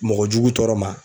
Mɔgɔ jugu tɔɔrɔ ma